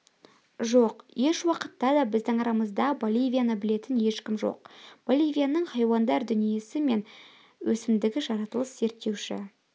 жоқ ешуақытта да біздің арамызда боливияны білетін ешкім жоқ боливияның хайуандар дүниесі мен өсімдігі жаратылыс зерттеуші